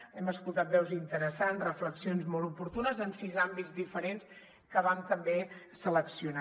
hem escoltat veus interessants reflexions molt oportunes en sis àmbits diferents que vam també seleccionar